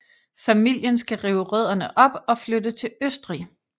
Familien skal rive rødderne op og flytte til Østrig